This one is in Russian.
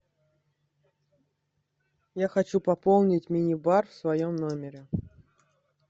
я хочу пополнить мини бар в своем номере